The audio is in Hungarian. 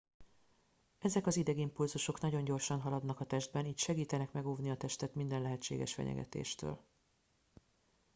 ezek az idegimpulzusok nagyon gyorsan haladnak a testben így segítenek megóvni a testet minden lehetséges fenyegetéstől